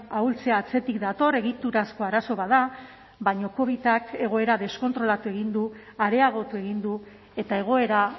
ahultzea atzetik dator egiturazko arazo bat da baina covidak egoera deskontrolatu egin du areagotu egin du eta egoera